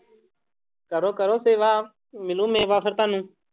ਕਰੋ ਕਰੋ ਸੇਵਾ ਮਿਲੂ ਮੇਵਾ ਫਿਰ ਤੁਹਾਨੂੰ।